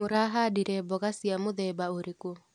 Mũrahandire mboga cia mũthemba ũrĩkũ.